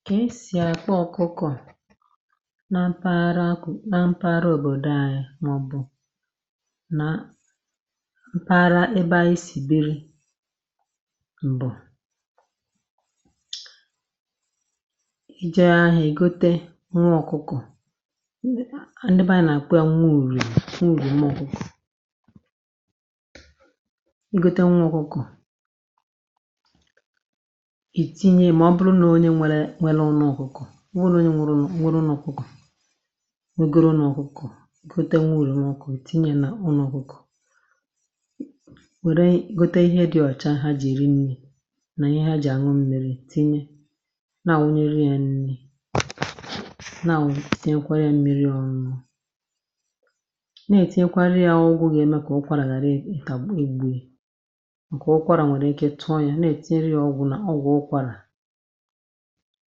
ǹkè e sì àkwa ọ̀kụkọ̀ na mpaghara akụ̀ na mpaghara òbòdo anyị um màọbụ̇ nà mpaghara ebe a e sìberi m̀bụ̀ ije ahụ̀ ègotè nwa ọ̀kụkọ̀ ndi bà nà àkwa, nwa òrì, nwa òrì mọ̀kụkọ̀ ètinye um mà ọ bụrụ nà onye nwẹrẹ ụnọ̀ ọkụkọ̀ nwere onye nwụrụ ụrụ̇ nọ̀ nwụrụ ụnọ̀ kwukwọ̀ n’ogoro n’ọkụkọ̀ gote, nwẹ ụlọ̀ n’ọkụkọ̀ tinye n’ọnụ ọkụkọ̀, nwẹ̀rẹ gote ihe dị ọ̀chà ha jì ri nni̇ nà ihe ha jì ànwụ mmi̇ri̇, tinye na àwụnyẹrẹ yȧ nni̇ nà àwụ, nyẹkwara yȧ mmiri, ọ̇nụ̇nụ̇ na-ètẹkwara yȧ ụgwụ gà-eme kà ọ kwarà um ghàrị èkàba ìgbò yà n’igwè ọkwàrà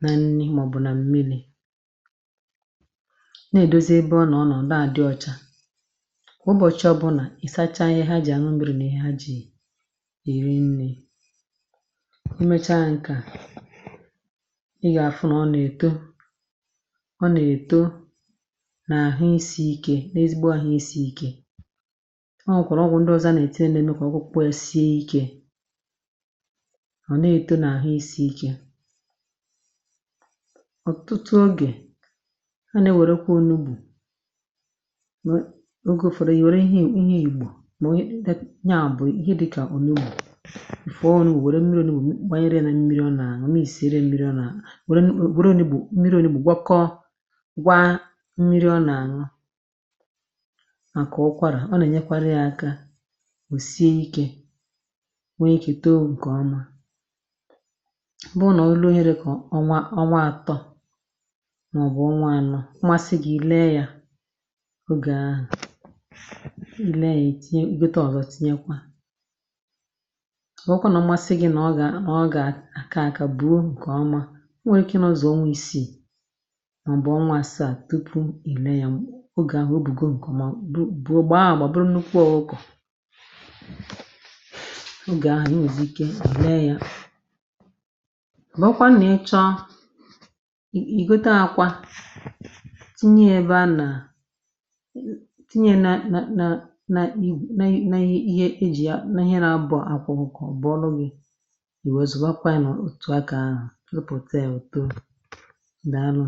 nà nni, màọbụ nà mmili̇, na-èdozi ebe ọ nà ọ nà ọ̀ba dị ọcha kà ubọ̀chị ọbụlà ị̀ sacha ihe ha jì àṅụ mmi̇ri̇ nà ha jì èri nni̇. i mecha ǹkà ị gà-àfụ nà ọ nà-èto, ọ nà-èto nà àhụ isi̇ ike, nà ezigbo àhụ isi̇ ike. ọ wụ̀kwàrà ọgwụ̀ ndị ọzọ na-ètin enė mèkà ọkụ kwa sie ikė ọ̀ nà-èto nà àhụ isi̇ ike. ọ̀tụtụ ogè ha nà-wèrekwa onugbù nwe, ogė ụ̀fọdụ yì wère ihe ìgbò, mà ya bụ̀ ihe dịkà onugbù bụ̀ fọ onu̇, wère mmiri̇ onugbù banyere nȧ mmiri̇ ọ nà-àṅọ̀, ọ̀ nà-èsi nri mmiri̇ ọ nà-àṅọ̀, wère n’onugbù mmiri̇, onugbù gbakọ̇ gwa mmiri̇ ọ nà-àṅọ. àkọ ụkwa rà, ọ nà-ènyekwara ya aka ò sie ikė nwe ikè too ǹkè ọma. bụrụ nà ọ nụnụ onye ree kà ọnwa ọnwa atọ, màọbụ̀ ọnwa anọ um mmasị gị ilee ya, ogè ahụ̀ ilee ya, eti gote ọzọ tinye, ànwụkwa nà mmasị gị, nà ọ gà àkà àkà bùo ǹkèọma. onwèrè ike nọzọ̀ ọnwa isii màọbụ̀ ọnwa asȧ à tupu ime ya m, ogè ahụ̀ e bùgo ǹkè ma bụ ogbò, ahụ̀ bụrụ nnukwu ọhụkọ̀, bàkwa nà ị chọ̇ ì gote akwa, tinye ebe a nà tinye, na nà i nà ihe e jì ya nà ihe na abụọ̇. àkwà ụ̀kọ bụ̀ ọlụ gị̇, i wèzụ̀bakwa nà òtù a, kà ahụ̀ ị̀ pụ̀ta òto dị anụ.